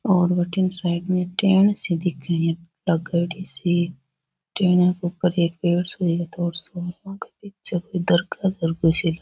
और बठन साइड मे टेंन सी दिख है इया लागेडी सी --